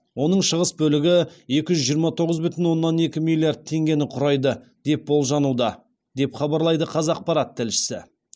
оның шығыс бөлігі екі жүз жиырма тоғыз бүтін оннан екі миллиард теңгені құрайды деп болжануда деп хабарлайды қазақпарат тілшісі